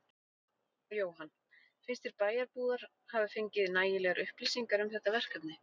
Jóhann: Finnst þér bæjarbúar hafa fengið nægilegar upplýsingar um þetta verkefni?